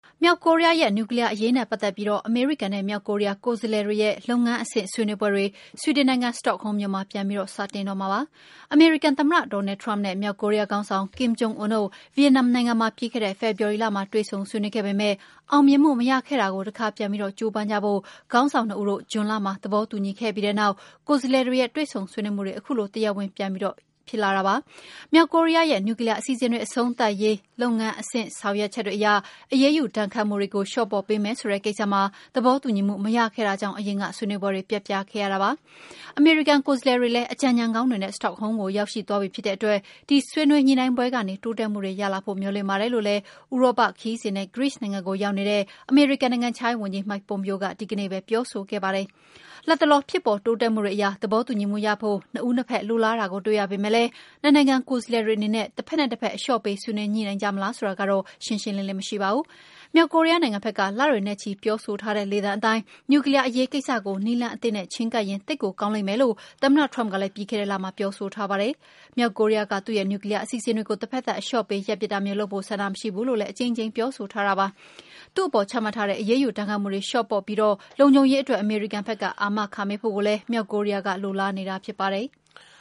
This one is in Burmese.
မြောက်ကိုရီးယားရဲ့ နျူကလီးယားအရေးနဲ့ ပတ်သက်ပြီး အမေရိကန်နဲ့ မြောက်ကိုရီးယား ကိုယ်စားလှယ်တွေရဲ့ လုပ်ငန်းအဆင့် ဆွေးနွေးပွဲတွေ ဆွီဒင်နိုင်ငံ စတော့ဟုမ်းမြို့မှာ ပြန်စတင်တော့မှာပါ။ အမေရိကန်သမ္မတ Donald Trump နဲ့ မြောက်ကိုရီးယားခေါင်းဆောင် Kim Jong Un တို့ ဗီယက်နမ်နိုင်ငံမှာ ပြီးခဲ့တဲ့ ဖေဖော်ဝါရီလမှာ တွေ့ဆုံဆွေးနွေးခဲ့ပေမယ့် အောင်မြင်မှု မရခဲ့တာကို တခါပြန်ပြီး ကြိုးပမ်းဖို့ ခေါင်းဆောင်နှစ်ဦးတို့ ဇွန်လမှာ သဘောတူညီခဲ့ပြီးတဲ့နောက် ကိုယ်စားလှယ်တွေရဲ့ တွေ့ဆုံဆွေးနွေးမှုတွေ ခုလို တရားဝင် ပြန်စတင်လိုက်တာပါ။ မြောက်ကိုရီးယားရဲ့ နျူကလီးယားအစီအစဉ်တွေ အဆုံးသတ်ရေး လုပ်ငန်းအဆင့်အတိုင်း အရေးယူဒဏ်ခတ်မှုတွေ လျှော့ပေါ့ပေးမယ်ဆိုတဲ့ ကိစ္စမှာ သဘောတူညီမှု မရတာကြောင့် အရင်က ဆွေးနွေးပွဲတွေ ပျက်ပြားခဲ့ရတာပါ။ အမေရိကန် ကိုယ်စားလှယ်တွေလည်း အကြံဉာဏ်ကောင်းတွေနဲ့ စတော့ဟုမ်းမြို့ကို ရောက်ရှိသွားပြီ ဖြစ်တဲ့အတွက် ဒီဆွေးနွေးညှိနှိုင်းပွဲကနေ တိုးတက်မှုတွေရလာဖို့ မျှော်လင့်ပါတယ်လို့လည်း ဥရောပခရီးစဉ်နဲ့ ဂရိနိုင်ငံကိုရောက်နေတဲ့ အမေရိကန် နိုင်ငံခြားရေးဝန်ကြီး Mike Pompeo က ဒီကနေ့ပဲ ပြောဆိုခဲ့ပါတယ်။ လတ်တလော ဖြစ်ပေါ်တိုးတက်မှုတွေအရ သဘောတူညီမှုရဖို့ နှစ်ဦးနှစ်ဖက် လိုလားတာကို တွေ့ရပေမယ့်လည်း နှစ်နိုင်ငံ ကိုယ်စားလှယ်တွေအနေနဲ့ တဖက်နဲ့တဖက် အလျှော့ပေး ဆွေးနွေးညှိနှိုင်းကြမလား ဆိုတာကတော့ ရှင်းရှင်းလင်းလင်း မရှိပါဘူး။ မြောက်ကိုရီးယားနိုင်ငံဘက်က လတွေနဲ့ချီ ပြောဆိုထားတဲ့ လေသံအတိုင်း နျူကလီးယားအရေးကိစ္စကို နည်းလမ်းအသစ်နဲ့ ချဉ်းကပ်ရင် သိပ်ကိုကောင်းလိမ့်မယ်လို့ သမ္မတ Trump ကလည်း ပြီးခဲ့တဲ့လက ပြောဆိုထားပါတယ်။ မြောက်ကိုရီးယားက သူ့ရဲ့ နျူကလီးယား အစီအစဉ်တွေကို တဖက်သတ် အလျှော့ပေး ရပ်ပစ်တာမျိုးလုပ်ဖို့ ဆန္ဒမရှိဘူးလို့ အကြိမ်ကြိမ် ပြောဆိုထားပါတယ်။ သူ့အပေါ် ချမှတ်ထားတဲ့ အရေးယူ ဒဏ်ခတ်မှုတွေကို လျှော့ပေါ့ပြီး လုံခြုံရေးအတွက် အမေရိကန်က အာမခံပေးဖို့ မြောက်ကိုရီးယားက လိုလားနေတာလည်း ဖြစ်ပါတယ်။